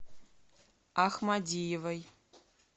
ахмадиевой